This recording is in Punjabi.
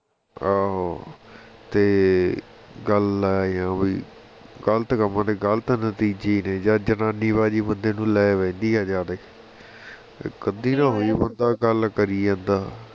ਆਹੋ ਤੇ ਗੱਲ ਇਹੋ ਹੀ ਵੀ ਗ਼ਲਤ ਕੰਮਾਂ ਦੇ ਗ਼ਲਤ ਨਤੀਜੇ ਨੇ ਜਾ ਜੰਨਾਨਿਬਾਜ਼ੀ ਬੰਦੇ ਨੂੰ ਲੈ ਬਹਿੰਦੀ ਆ ਜਾਦੇ ਇਕ ਅੱਧੀ ਦਾ ਨਹੀ ਹੁੰਦਾ ਗੱਲ ਕਰਿ ਜਾਂਦਾ